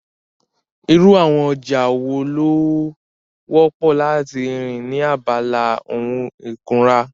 Irú àwọn ọjà wo ló wọ́pọ̀ láti rí ní abala ohun ìkunra?